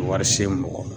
Wari se mɔgɔ ma